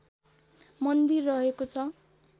मन्दिर रहेको छ